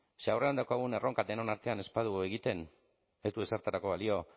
ze aurrean daukagun erronka denon artean ez badugu egiten ez du ezertarako balio